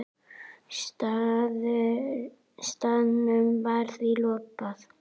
Staðnum var því lokað.